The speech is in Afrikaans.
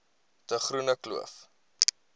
de groene kloof